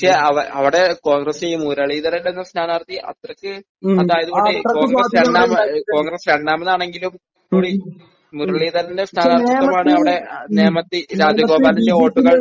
പക്ഷേ അവടെ കോൺഗ്രസ് ഈ മുരളീധരൻ എന്ന സ്ഥാനാർഥി അത്രയ്ക്ക് അതായത് കോൺഗ്രസ് രണ്ടാമത് കോൺഗ്രസ് രണ്ടാമതാണെങ്കിലും മുരളീധരൻ സ്ഥാനാർഥിത്വമാണ് അവിടെ നേമത്തിൽ രാജഗോപാലൻ്റെ വോട്ട്കൾ